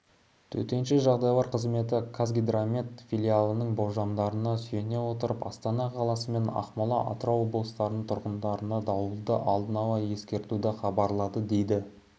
төтенше жағдайлар комитеті қазгидромет филиалының болжамдарына сүйене отырып астана қаласы мен ақмола атырау облыстарының тұрғындарына дауылды алдын ала ескертуді хабарлады дейді